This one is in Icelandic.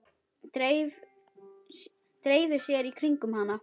Dreifi sér í kringum hann.